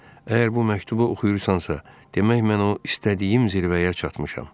Əgər bu məktubu oxuyursansa, demək mən o istədiyim zirvəyə çatmışam.